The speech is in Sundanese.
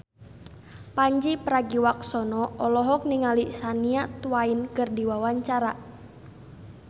Pandji Pragiwaksono olohok ningali Shania Twain keur diwawancara